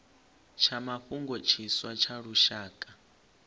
tsha mafhungo tshiswa tsha lushaka